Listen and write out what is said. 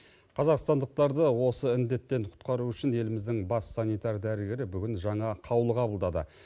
қазақстандықтарды осы індеттен құтқару үшін еліміздің бас санитар дәрігері бүгін жаңа қаулы қабылдады